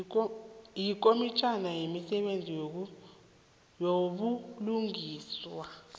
yikomitjhana yemisebenzi yobulungiswa